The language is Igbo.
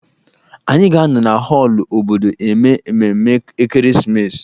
Anyị ga-anọ na họọlụ obodo eme ememe ekeresimesi